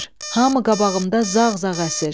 Hamı qabağımda zağ-zağ əsir.